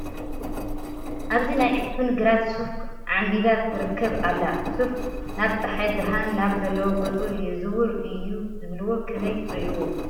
ኣብዚ ናይ ዕፉን ግራት ሱፍ ዓምቢባ ትርከ ኣላ፡፡ ሱፍ ናብ ፀሓይ ብርሃን ናብ ዘለዎ ገፁ የዝውር እዩ ዝብልዎ ከመይ ትርእይዎ?